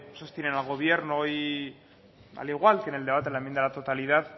sostienen al gobierno y al igual que en el debate de la enmienda a la totalidad